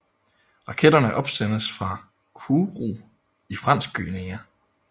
Raketterne opsendes fra Kourou i Fransk Guyana